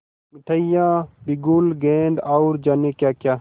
मिठाइयाँ बिगुल गेंद और जाने क्याक्या